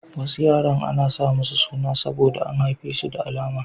Wasu yaran ana sa musu suna saboda an haife su da alama.